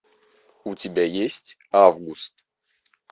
у тебя есть август